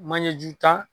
Manjeju tan